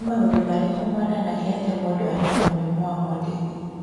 Nĩ maũndũ marĩkũ monanagia atĩ mũndũ arĩ na mũrimũ wa Mondini?